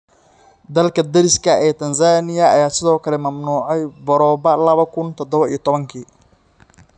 Dalka deriska la ah ee Tanzania ayaa sidoo kale mamnuucay boroba lawa kun tadhawo iyo tobaanki.